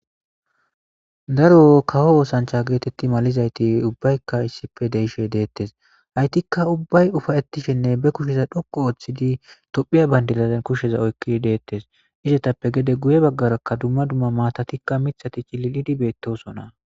Daaro kawo oththancha getteti maalizaytti ubbaykka issippe deiishe dettes hayttika ubbay uffaetishene be kushshe dhoqqu ooththidi tophphiya banddira kushshezan oykkidi dettes izzettappe gede guye baggeraka dumma dumma maatatika miththati cillilidi bettosona.